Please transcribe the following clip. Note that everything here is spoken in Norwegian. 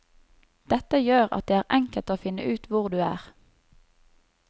Dette gjør at det er enkelt å finne ut hvor du er.